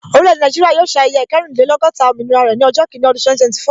Orile-ede Naijiria yóò ṣe ayẹyẹ ikerinlelogota òmìnira rẹ ni ọjọ́ kini ọdún 2024